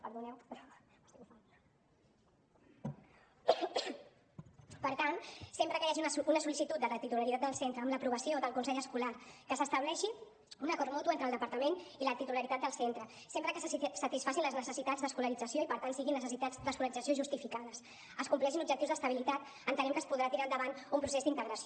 per tant sempre que hi hagi una sol·licitud de la titularitat del centre amb l’aprovació del consell escolar que s’estableixi un acord mutu entre el departament i la titularitat del centre sempre que se satisfacin les necessitats d’escolarització i per tant siguin necessitats d’escolarització justificades es compleixin objectius d’estabilitat entenem que es podrà tirar endavant un procés d’integració